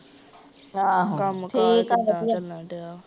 ਆਹੋ ਠੀਕ ਆ ਵਧੀਆ